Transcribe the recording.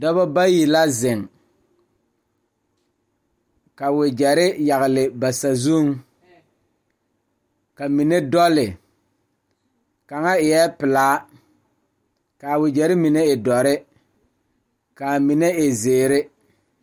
Dɔɔba ne Pɔgeba kaa pɔge nyoŋ dɔɔ nu ka katawiɛ Kyaara ka dɔɔ a su dagakparo ka pɔge a gyere wagye a le kodo kaa dɔɔba a gyere wagyere.